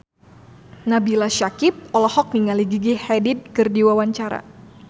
Nabila Syakieb olohok ningali Gigi Hadid keur diwawancara